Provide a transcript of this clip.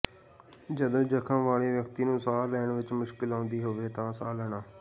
ਜਦੋਂ ਜਖਮ ਵਾਲੇ ਵਿਅਕਤੀ ਨੂੰ ਸਾਹ ਲੈਣ ਵਿੱਚ ਮੁਸ਼ਕਲ ਆਉਂਦੀ ਹੋਵੇ ਜਾਂ ਸਾਹ ਲੈਣਾ